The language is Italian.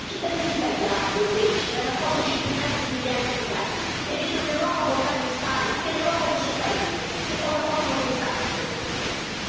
Ma i cittadini italiani o greci, che hanno accolto centinaia di migliaia di migranti e vedono l'Europa voltare loro le spalle, anche il suo paese, che cosa possono pensare di questo progetto?